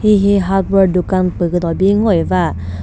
hihi hardware dukan püh küdo bi ngoi ba.